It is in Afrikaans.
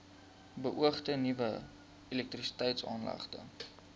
beoogde nuwe elektrisiteitsaanlegte